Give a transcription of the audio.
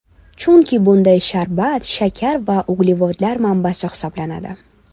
Chunki bunday sharbat shakar va uglevodlar manbasi hisoblanadi.